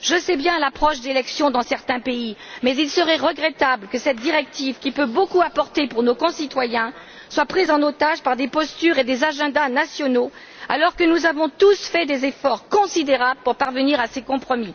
Je sais bien que des élections auront prochainement lieu dans certains pays, mais il serait regrettable que cette directive qui peut apporter beaucoup à nos concitoyens soit prise en otage par des postures et des agendas nationaux, alors que nous avons tous fait des efforts considérables pour parvenir à ces compromis.